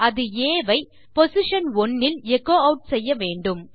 அது ஆ ஐ பொசிஷன் 1 இல் எச்சோ ஆட் செய்யவேண்டும்